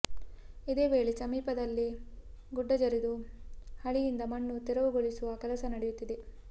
ಇದೇ ವೇಳೆ ಸಮೀಪದಲ್ಲೇ ಗುಡ್ಡ ಜರಿದು ಹಳಿಯಿಂದ ಮಣ್ಣು ತೆರವುಗೊಳಿಸುವ ಕೆಲಸ ನಡೆಯುತ್ತಿದೆ